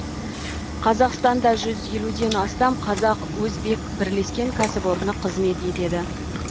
қазақстанда жүз елуден астам қазақ өзбек бірлескен кәсіпорны қызмет етеді